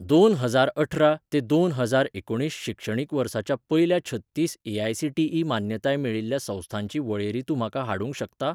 दोन हजारअठरा ते दोन हजार एकुणीस शिक्षणीक वर्साच्या पयल्या छत्तीस ए.आय.सी.टी.ई मान्यताय मेळिल्ल्या संस्थांची वळेरी तूं म्हाका हाडूंक शकता?